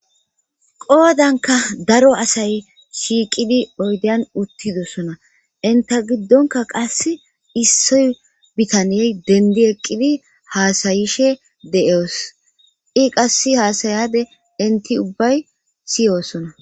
Qoodanka daro asay shiiqidi oydeyan uttidosona inta giddonka qasse issoy bitaniyey dendi eqqidi haasayishe de'oos i qass haasayade inti ubbay siyosona.